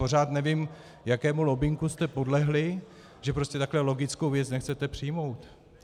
Pořád nevím, jakému lobbingu jste podlehli, že prostě takhle logickou věc nechcete přijmout.